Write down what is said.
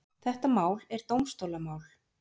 Þetta mál er dómstólamál.